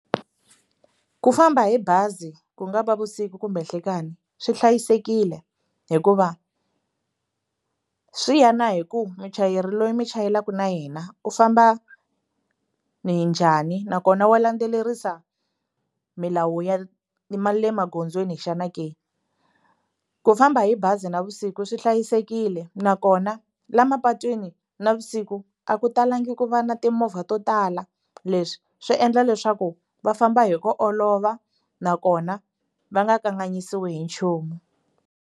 Ku famba hi bazi ku nga va vusiku kumbe nhlikani swi hlayisekile hikuva swi ya na hi ku muchayeri loyi mi chayelaka na yena u famba ni njhani nakona wa landzelerisa milawu ya ma le magondzweni xana ke ku famba hi bazi navusiku swi hlayisekile nakona la mapatwini navusiku a ku talangi ku va na timovha to tala leswi swi endla leswaku va famba hi ku olova nakona va nga kanganyisiwi hi nchumu.